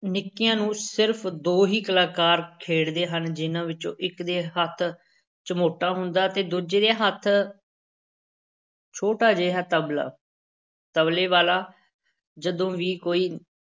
ਨਿੱਕੀਆਂ ਨੂੰ ਸਿਰਫ਼ ਦੋ ਹੀ ਕਲਾਕਾਰ ਖੇਡਦੇ ਹਨ ਜਿਨ੍ਹਾਂ ਵਿੱਚੋਂ ਇੱਕ ਦੇ ਹੱਥ ਚਮੋਟਾ ਹੁੰਦਾ ਤੇ ਦੂਜੇ ਦੇ ਹੱਥ ਛੋਟਾ ਜਿਹਾ ਤਬਲਾ, ਤਬਲੇ ਵਾਲਾ ਜਦੋਂ ਵੀ ਕੋਈ